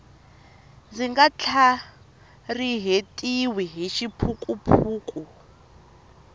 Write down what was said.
ndzi nga tlharihetiwi hi xiphukuphuku